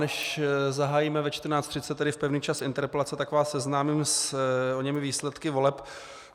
Než zahájíme ve 14.30, tedy v pevný čas interpelace, tak vás seznámím s oněmi výsledky voleb.